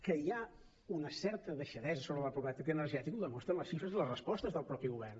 que hi ha una certa deixadesa sobre la pobresa energètica ho demostren les xifres i les respostes del mateix govern